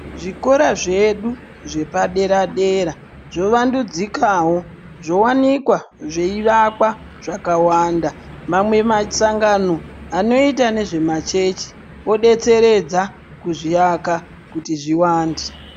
Zvikora zvedu zvepa dera dera zvo wandudzikawo zvowanikwa zvei vakwa zvakawanda mamwe masangano anoita nezve machechi o detseredza kuzvi aka kuti zviwande.